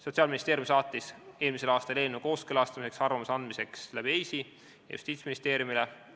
Sotsiaalministeerium saatis eelmisel aastal eelnõu kooskõlastamiseks ja arvamuse andmiseks EIS-i kaudu Justiitsministeeriumile.